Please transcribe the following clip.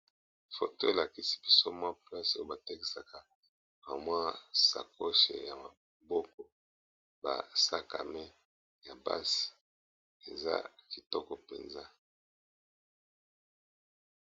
foto elakisi biso mwa plase oyo batekisaka ramoa sakoche ya maboko basakame ya basi eza kitoko mpenza